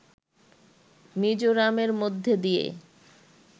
মিজোরামের মধ্যে দিয়ে